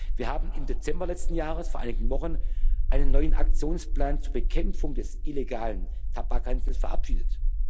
Wir haben im Dezember letzten Jahres, vor einigen Wochen, einen neuen Aktionsplan zur Bekämpfung des illegalen Tabakhandels verabschiedet.